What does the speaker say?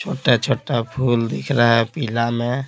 छोटा-छोटा फूल दिख रहा है पीला में--